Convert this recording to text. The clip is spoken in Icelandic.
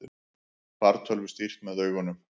Fartölvu stýrt með augunum